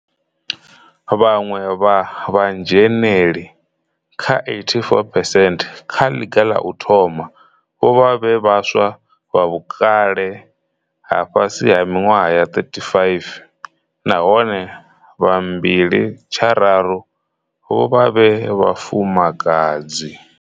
Vhaṅwe vha vhadzhe neli vha 84 phesenthe kha ḽiga ḽa u thoma vho vha vhe vhaswa vha vhukale ha fhasi ha miṅwaha ya 35, nahone vha mbili tshararu vho vha vhe vhafumakadzi.